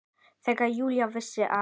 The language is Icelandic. Þegar Júlía vissi að